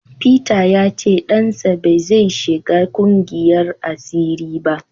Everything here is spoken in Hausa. Peter ya ce dansa ba zai shiga kungiyar asiri ba.